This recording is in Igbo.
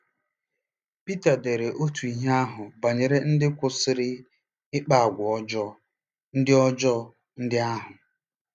Pita dere otú ihe ahụ banyere ndị kwụsịrị ịkpa àgwà ọjọọ ndị ọjọọ ndị ahụ.